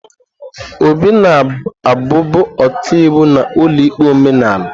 Obi na-abụbu ọkaiwu n'ụlọikpe omenala.